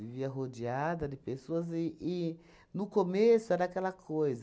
Vivia rodeada de pessoas e e no começo era aquela coisa.